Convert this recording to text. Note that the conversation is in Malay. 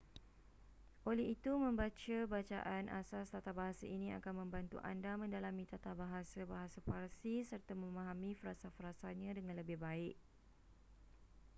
oleh itu membaca bacaan asas tatabahasa ini akan membantu anda mendalami tatabahasa bahasa parsi serta memahami frasa-frasanya dengan lebih baik